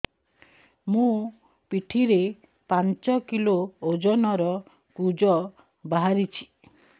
ମୋ ପିଠି ରେ ପାଞ୍ଚ କିଲୋ ଓଜନ ର କୁଜ ବାହାରିଛି